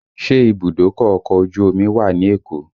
Ṣé ìbùdókọ̀ ọkọ̀ ojú omi wà ní Èkó?